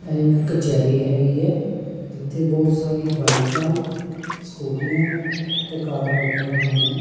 ਇਹ ਕਚਹਿਰੀ ਹੈਗੀ ਹੈ ਜਿੱਥੇ ਬਹੁਤ ਸਾਰੀ ਬਾਈਕਾ ਸਕੂਟੀਆਂ ਤੇ ਕਾਰਾਂ ਲੱਗੀਆਂ ਹੋਈਆਂ।